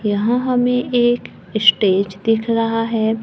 यहां हमें एक स्टेज दिख रहा है।